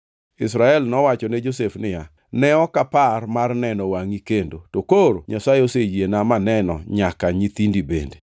Israel mowachone Josef niya, “Ne ok apar mar neno wangʼi kendo to koro Nyasaye oseyiena maneno nyaka nyithindi bende.”